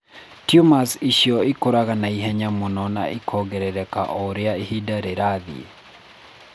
Tumors icio ikũraga na ihenya mũno na ikongerereka o ũrĩa ihinda rĩrathiĩ.